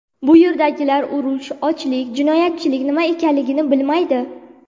Bu yerdagilar urush, ochlik, jinoyatchilik nima ekanligini bilmaydi.